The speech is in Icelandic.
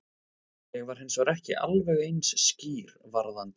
Ég var hins vegar ekki alveg eins skýr varðandi